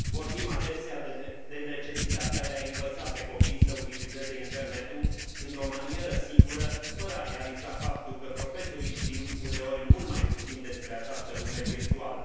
Vorbim adesea de necesitatea de a i învăța pe copii să utilizeze internetul într o manieră sigură, fără a realiza faptul că profesorii știu, uneori, mult mai puțin despre această lume virtuală.